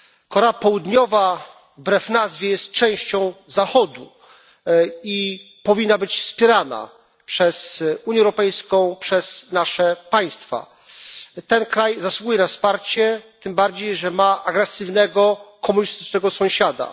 Korea Południowa wbrew nazwie jest częścią Zachodu i powinna być wspierana przez Unię Europejską, przez nasze państwa. Ten kraj zasługuje na wsparcie, tym bardziej że ma agresywnego komunistycznego sąsiada.